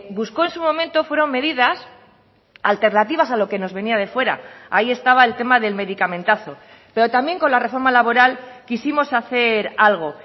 buscó en su momento fueron medidas alternativas a lo que nos venía de fuera ahí estaba el tema del medicamentazo pero también con la reforma laboral quisimos hacer algo